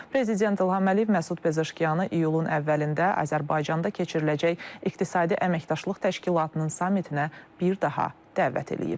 Prezident İlham Əliyev Məsud Pezeşkiyanı iyulun əvvəlində Azərbaycanda keçiriləcək İqtisadi Əməkdaşlıq Təşkilatının sammitinə bir daha dəvət eləyib.